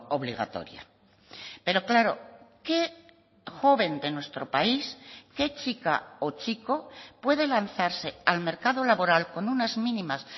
obligatoria pero claro qué joven de nuestro país qué chica o chico puede lanzarse al mercado laboral con unas mínimas